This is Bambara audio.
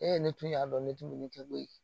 E ne tun y'a dɔn ne tun bɛ ne kɛ koyi